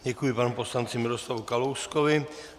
Děkuji panu poslanci Miroslavu Kalouskovi.